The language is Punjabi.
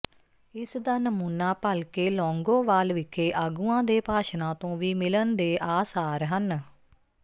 ਇਸ ਦਾ ਨਮੂਨਾ ਭਲਕੇ ਲੌਂਗੋਵਾਲ ਵਿਖੇ ਆਗੂਆਂ ਦੇ ਭਾਸ਼ਣਾਂ ਤੋਂ ਵੀ ਮਿਲਣ ਦੇ ਆਸਾਰ ਹਨ